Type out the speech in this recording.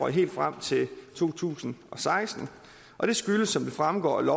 helt frem til to tusind og seksten og det skyldes som det fremgår af